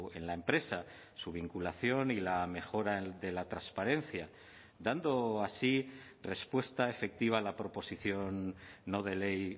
en la empresa su vinculación y la mejora de la transparencia dando así respuesta efectiva a la proposición no de ley